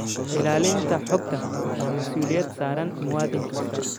Ilaalinta xogta waa masuuliyad saaran muwaadin kasta.